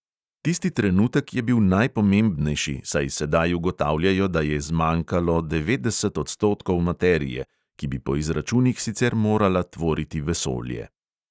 Tisti trenutek je bil najpomembnejši, saj sedaj ugotavljajo, da je "zmanjkalo" devetdeset odstotkov materije, ki bi po izračunih sicer morala tvoriti vesolje.